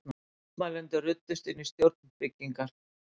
Mótmælendur ruddust inn í stjórnarbyggingar